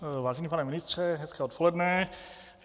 Vážený pane ministře, hezké odpoledne.